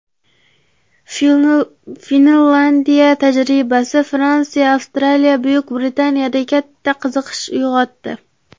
Finlyandiya tajribasi Fransiya, Avstraliya, Buyuk Britaniyada katta qiziqish uyg‘otdi.